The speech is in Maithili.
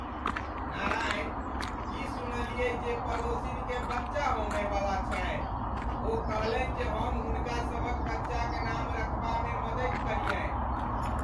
नारायण, की सुनलियै जे पड़ोसिन केँ बच्चा होमय वला छनि? ओ कहलनि जे हम हुनकासभक बच्चाक नाम रखबामे मदति करियनि ।